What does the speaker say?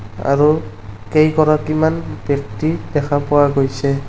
আৰু কেইগৰাকীমান ব্যক্তি দেখা পোৱা গৈছে।